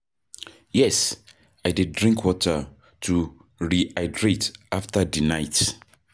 yes, i dey drink water to rehydrate after di night.